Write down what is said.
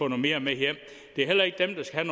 mere med hjem det er heller ikke dem der skal